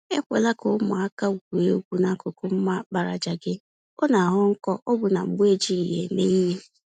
Ekwela ka ụmụaka gwuo egwu n'akụkụ mma àkpàràjà gị - ọ naghọ nkọ ọbụna mgbe ejighi ya eme ìhè.